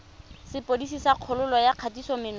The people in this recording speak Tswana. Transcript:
sepodisi sa kgololo ya kgatisomenwa